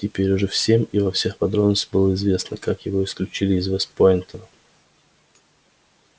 теперь уже всем и во всех подробностях было известно как его исключили из вест-пойнта